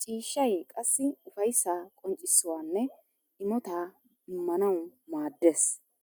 Ciishshay qassi ufayssa qonccissawunne imotta imanawu maades.